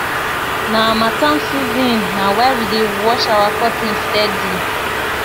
na harmattan season na why we dey wash our curtain steady